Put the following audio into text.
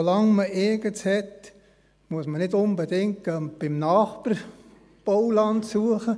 So lange man Eigenes hat, muss man nicht unbedingt beim Nachbarn Bauland suchen.